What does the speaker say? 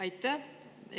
Aitäh!